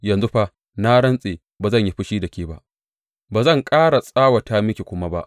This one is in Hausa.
Yanzu fa na rantse ba zan yi fushi da ke ba, ba zan ƙara tsawata miki kuma ba.